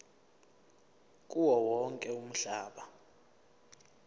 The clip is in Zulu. kuwo wonke umhlaba